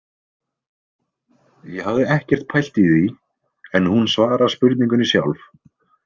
Ég hafði ekkert pælt í því en hún svarar spurningunni sjálf.